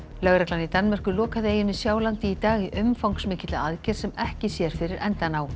lögreglan í Danmörku lokaði eyjunni Sjálandi í dag í umfangsmikilli aðgerð sem ekki sér fyrir endann á